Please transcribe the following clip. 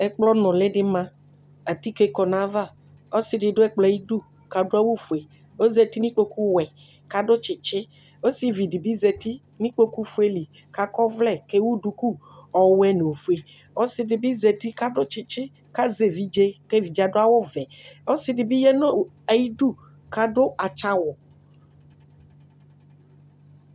ɛkplɔ nuli di ma atike kɔ n'ava ɔsi di du ɛkplɔɛ ayi du k'adu awu fue ozati n'ikpoku wɛ k'adu tsitsi osivi di bi zati n'ikpoku fue li k'akɔ ɔvlɛ k'ewu duku ɔwɛ no ofue ɔsi di bi zati k'adu tsitsi k'azɛ evidze k'evidze adu awu vɛ ɔsi di bi ya no ayi du k'adu atsa awu.